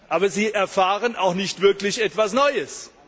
Aber sie erfahren auch nicht wirklich etwas Neues.